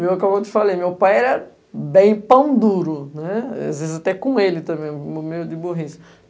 Como eu te falei, meu pai era bem pão duro, né, às vezes até com ele também, meio de burrice.